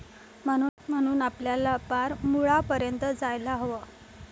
म्हणून आपल्याला पार मुळापर्यंत जायला हवं.